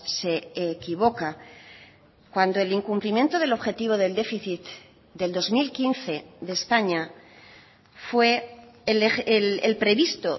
se equivoca cuando el incumplimiento del objetivo del déficit del dos mil quince de españa fue el previsto